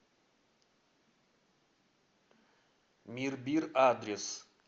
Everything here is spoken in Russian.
мирбир адрес